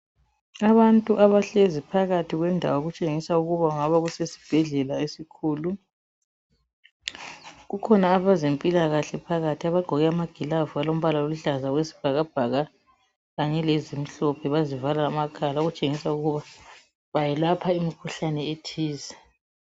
Abantu abahlezi phakathi kwendawo okutshengisa ukuba kungabe kusesibhedlela esikhulu. Kukhona abezempilakahle phakathi abagqoke amagilavu alombala oluhlaza okwesibhakabhaka kanye lezimhlophe bazivala amakhala okutshengisa ukuba belapha imkhuhlane ethize.